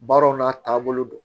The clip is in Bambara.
Baaraw n'a taabolo don